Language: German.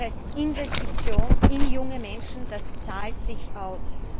Das heißt, Investition in junge Menschen zahlt sich aus.